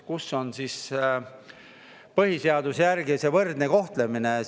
Kus on siis põhiseaduse järgi see võrdne kohtlemine?